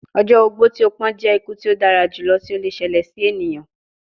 Ọjọ ogbó ti o pọn jẹ iku ti o dara julọ ti o le ṣẹlẹ si eniyan